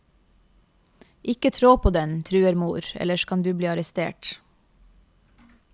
Ikke trå på den, truer mor, ellers kan du bli arrest.